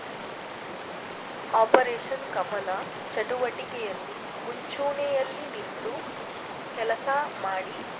operation Kamala ಚಟುವಟಿಕೆಯಲ್ಲಿ ಮುಂಚೂಣಿಯಲ್ಲಿ ನಿಂತು ಕೆಲಸ ಮಾಡಿ